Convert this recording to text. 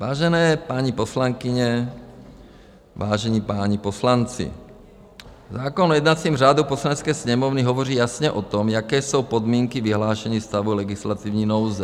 Vážené paní poslankyně, vážení páni poslanci, zákon o jednacím řádu Poslanecké sněmovny hovoří jasně o tom, jaké jsou podmínky vyhlášení stavu legislativní nouze.